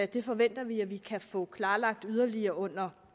det forventer vi at vi kan få klarlagt yderligere under